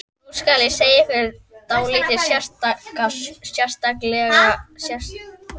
Nú skal segja ykkur dálítið sérstaka sögu.